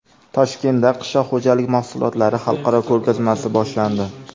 Toshkentda qishloq xo‘jalik mahsulotlari xalqaro ko‘rgazmasi boshlandi.